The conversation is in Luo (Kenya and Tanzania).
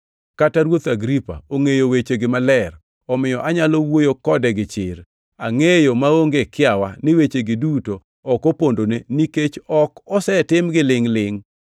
Kata Ruoth Agripa ongʼeyo wechegi maler, omiyo anyalo wuoyo kode gi chir. Angʼeyo maonge kiawa ni wechegi duto ok opondone, nikech ok osetimgi lingʼ-lingʼ.